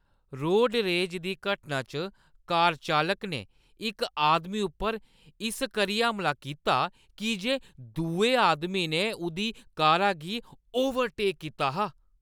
Road rage दी घटना च कार चालक ने इक आदमी उप्पर इस करियै हमला कीता की जे दुए आदमी ने उʼदी कारा गी ओवरटेक कीता हा।